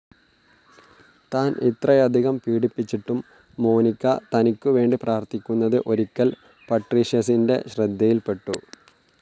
താൻ ഇത്രയധികം പീഡിപ്പിച്ചിട്ടും മോനിക്ക തനിക്കു വേണ്ടി പ്രാർഥിക്കുന്നത് ഒരിക്കൽ പട്രീഷ്യസിന്റെ ശ്രദ്ധയിൽ പെട്ടു.